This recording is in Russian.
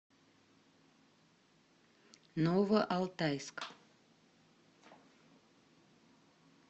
новоалтайск